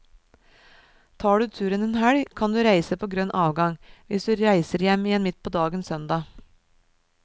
Tar du turen en helg, kan du reise på grønn avgang, hvis du reiser hjem igjen midt på dagen søndag.